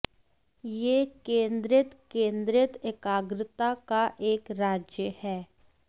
यह केंद्रित केंद्रित एकाग्रता का एक राज्य है